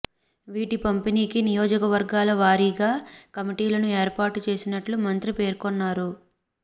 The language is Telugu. వీటి పంపిణీకి నియోజకవర్గాల వారీగా కమిటీలను ఏర్పాటు చేసినట్లు మంత్రి పేర్కొన్నారు